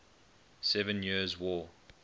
seven years war